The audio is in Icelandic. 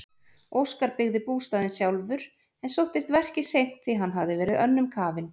Óskar byggði bústaðinn sjálfur en sóttist verkið seint því hann hafði verið önnum kafinn.